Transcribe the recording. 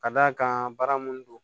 Ka d'a kan baara mun don